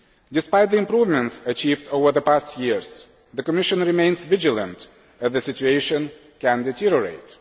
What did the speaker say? Despite the improvements achieved over the past years, the Commission remains vigilant, as the situation could deteriorate.